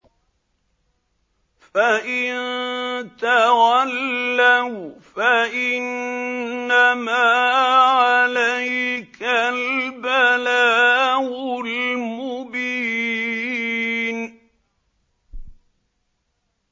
فَإِن تَوَلَّوْا فَإِنَّمَا عَلَيْكَ الْبَلَاغُ الْمُبِينُ